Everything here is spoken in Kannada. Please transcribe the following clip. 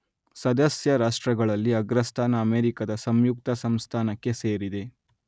ಸದಸ್ಯರಾಷ್ಟ್ರಗಳಲ್ಲಿ ಅಗ್ರಸ್ಥಾನ ಅಮೆರಿಕದ ಸಂಯುಕ್ತ ಸಂಸ್ಥಾನಕ್ಕೆ ಸೇರಿದೆ.